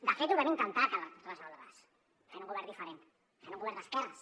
de fet ho vam intentar resoldre les fent un govern diferent fent un govern d’esquerres